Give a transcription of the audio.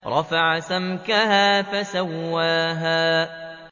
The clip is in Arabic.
رَفَعَ سَمْكَهَا فَسَوَّاهَا